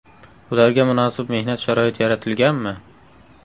Ularga munosib mehnat sharoiti yaratilganmi?.